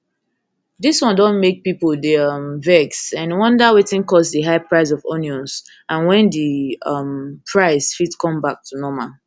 dis one don make pipo dey um vex and wonder wetin cause di high price of onions and wen di um price fit come back to normal